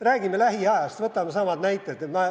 Räägime lähiajast, võtame samad näited.